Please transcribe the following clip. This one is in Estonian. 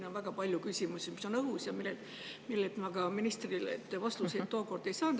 On väga palju küsimusi, mis on õhus ja millele ma tookord ka ministrilt vastuseid ei saanud.